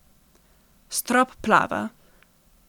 Strop plava.